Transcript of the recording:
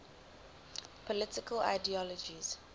political ideologies